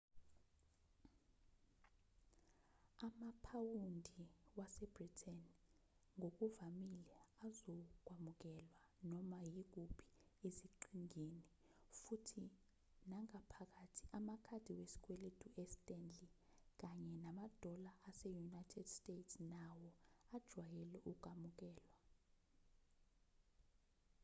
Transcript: amaphawundi wase-britain ngokuvamile azokwamukelwa noma yikuphi eziqhingini futhi nangaphakathi amakhadi wesikweletu e-stanley kanye namadola ase-united states nawo ajwayele ukwamukelwa